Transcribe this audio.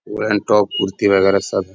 Women top kurti वगैरह सब है।